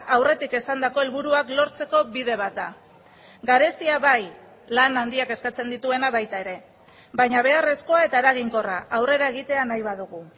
aurretik esandako helburuak lortzeko bide bat da garestia bai lan handiak eskatzen dituena baita ere baina beharrezkoa eta eraginkorra aurrera egitea nahi badugu